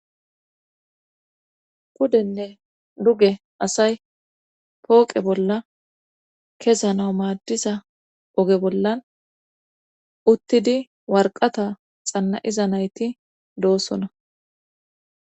kudenne duge asay pooqe bolla kesana maaddiza oge bollan uttidi warqata xanna7iza nayti doosona